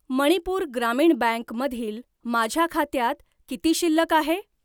मणिपूर ग्रामीण बँक मधील माझ्या खात्यात किती शिल्लक आहे?